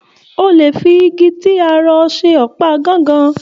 O le fi ìgi ti a rọ̀ ṣe ọpa gángan.